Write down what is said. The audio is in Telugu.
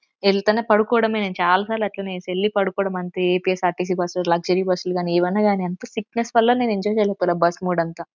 ఎంతన పాడుకోవడమే చాల సార్లు అట్లనే చేసిల్లు వెళ్ళి పాడుకోవడమే అంతే ఏ_పి_ఎస్ ఆర్టీసీ బస్సు లు లగ్జరీ బస్సు లు కానీ ఏవైనా కనివండి సిక్నెస్ వల్ల నేను ఎంజాయ్ చేయలేకపోయాను బస్సు మూడ్ అంత.